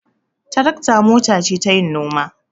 Tarakta mota ce tayin noma.